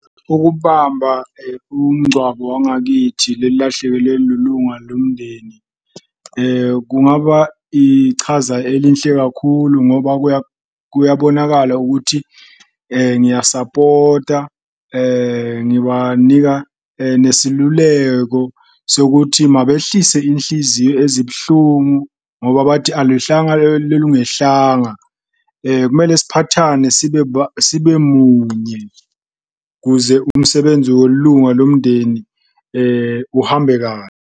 Ukubamba umngcwabo wangakithi lelilahlekelwe lilunga lomndeni kungaba ichaza elinhle kakhulu ngoba kuyabonakala ukuthi ngiyasapota, ngibanika nesiluleko sokuthi mabehlise inhliziyo ezibuhlungu ngoba bathi, alwehlanga lungehlanga. Kumele siphathane sibe munye kuze umsebenzi welunga lomndeni uhambe .